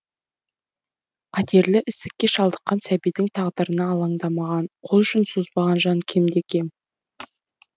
қатерлі ісікке шалдыққан сәбидің тағдырына алаңдамаған қолұшын созбаған жан кемде кем